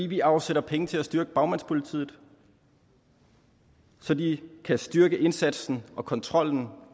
vi afsætter penge til at styrke bagmandspolitiet så de kan styrke indsatsen og kontrollen